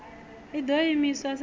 i ḓo imiswa sa izwo